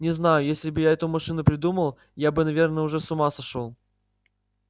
не знаю если бы я эту машину придумал я бы наверное уже с ума сошёл